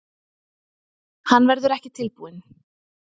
Hann verður ekki tilbúinn